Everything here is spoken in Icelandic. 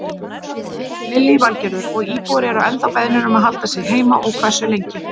Lillý Valgerður: Og íbúar eru ennþá beðnir um að halda sig heima og hversu lengi?